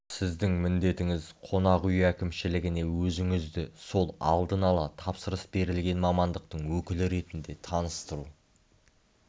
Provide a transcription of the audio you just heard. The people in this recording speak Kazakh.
сіздің міндетіңіз қонақүй әкімшілігіне өзіңізді сол алдын-ала тапсырыс берілген мамандықтың өкілі ретінде таныстыру